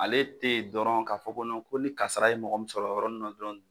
Ale tɛ yen dɔrɔn ka fɔ ko ni kasara ye mɔgɔ min sɔrɔ o yɔrɔnin na dɔrɔn